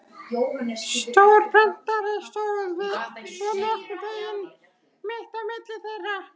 Stór prentari stóð svo nokkurn veginn mitt á milli þeirra.